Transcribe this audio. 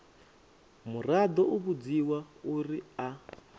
muraḓo u vhudziwa uri a